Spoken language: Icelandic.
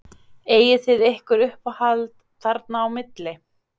Eigið þið ykkur uppáhald þarna á milli?